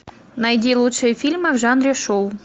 найди лучшие фильмы в жанре шоу